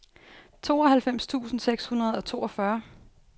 tooghalvfems tusind seks hundrede og toogfyrre